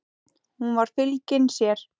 Hún var fylgin sér.